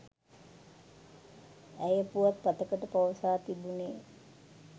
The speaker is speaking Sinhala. ඇය පුවත්පතකට පවසා තිබුනේ